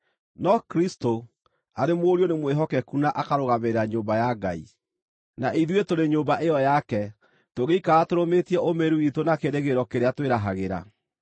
No Kristũ arĩ Mũriũ aarĩ mwĩhokeku na akarũgamĩrĩra nyũmba ya Ngai. Na ithuĩ tũrĩ nyũmba ĩyo yake, tũngĩikara tũrũmĩtie ũmĩrĩru witũ na kĩĩrĩgĩrĩro kĩrĩa twĩrahagĩra.